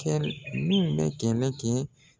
teri min bɛ kɛlɛ kɛ.